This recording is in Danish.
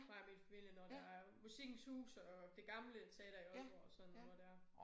Mig og min familie når der er Musikkens Hus og det gamle teater i Aalborg og sådan noget dér